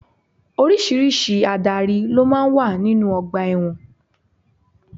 Oríṣiríṣi Ádárì ló máa ń wà nínú ọgbà ẹ̀wọ̀n.